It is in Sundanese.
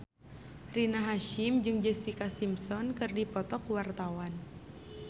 Rina Hasyim jeung Jessica Simpson keur dipoto ku wartawan